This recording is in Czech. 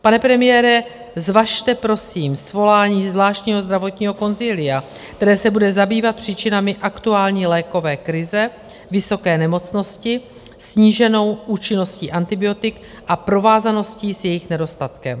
Pane premiére, zvažte prosím svolání zvláštního zdravotního konzilia, které se bude zabývat příčinami aktuální lékové krize, vysoké nemocnosti, sníženou účinností antibiotik a provázaností s jejich nedostatkem.